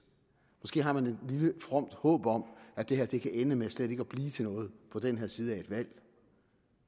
måske har man et lille fromt håb om at det her kan ende med slet ikke at blive til noget på den her side af et valg